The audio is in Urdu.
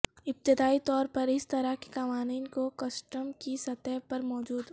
ابتدائی طور پر اس طرح کے قوانین کو کسٹم کی سطح پر موجود